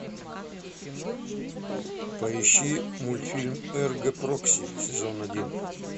поищи мультфильм эрго прокси сезон один